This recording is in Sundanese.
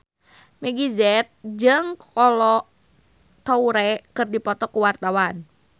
Meggie Z jeung Kolo Taure keur dipoto ku wartawan